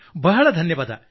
ಬಹಳ ಧನ್ಯವಾದ